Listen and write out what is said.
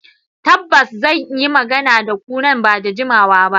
Tabbas, zan yi magana da ku nan ba da jimawa ba.